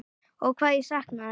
Ó hvað ég sakna þess.